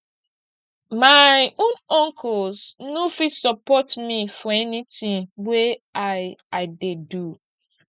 my own uncles no fit support me for anytin wey i i dey do